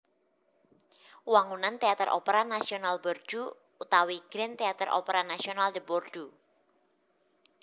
Wangunan Téater Opera Nasional Bordeaux utawi Grand Theatre Opera National de Bordeaux